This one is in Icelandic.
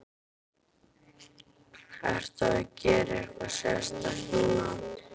Ertu að gera eitthvað sérstakt núna?